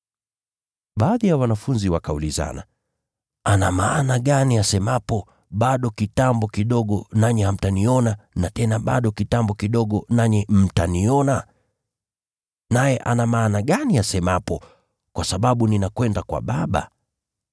Baadhi ya wanafunzi wakaulizana, “Ana maana gani asemapo, ‘Bado kitambo kidogo nanyi hamtaniona na tena bado kitambo kidogo nanyi mtaniona’ ? Naye ana maana gani asemapo, ‘Kwa sababu ninakwenda kwa Baba’ ?”